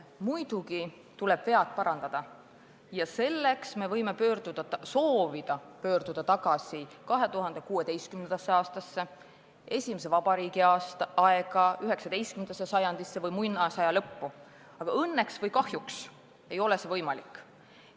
Muidugi tuleb vead parandada ja selleks me võime soovida pöörduda tagasi 2016. aastasse, nn esimese vabariigi aega, 19. sajandisse või muinasaja lõppu, aga õnneks või kahjuks ei ole see võimalik.